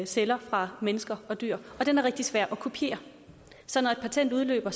celler fra mennesker og dyr og den er rigtig svær at kopiere så når et patent udløber